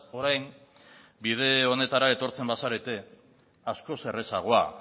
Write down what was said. orain bide honetara etortzen bazarete askoz errazagoa